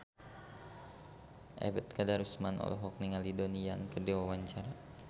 Ebet Kadarusman olohok ningali Donnie Yan keur diwawancara